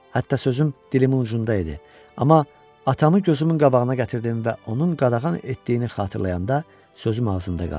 Hətta sözüm dilimin ucunda idi, amma atamı gözümün qabağına gətirdim və onun qadağan etdiyini xatırlayanda sözüm ağzımda qaldı.